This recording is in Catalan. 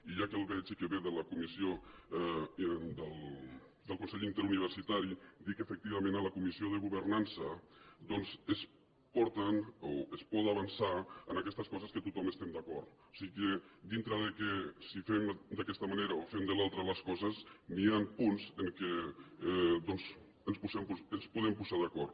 i ja que el veig i que ve del consell inter·universitari dir que efectivament en la comissió de governança es porten o es pot avançar en aquestes co·ses en què tothom estem d’acord o sigui dintre de si fem d’aquesta manera o si fem de l’altra les coses hi ha punts en què doncs ens podem posar d’acord